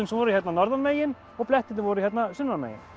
sem voru hérna norðan megin og blettirnir voru hérna sunnan megin